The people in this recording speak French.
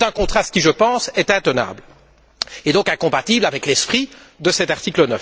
C'est un contraste qui, je pense, est intenable, et donc incompatible avec l'esprit de cet article